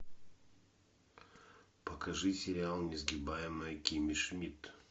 покажи сериал несгибаемая кимми шмидт